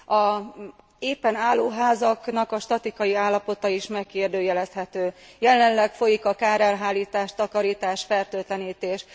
Az épen álló házaknak a statikai állapota is megkérdőjelezhető. Jelenleg folyik a kárelhárítás, takarítás, fertőtlenítés.